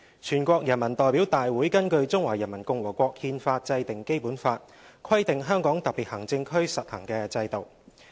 全國人民代表大會根據《中華人民共和國憲法》制定《基本法》，規定香港特別行政區實行的制度。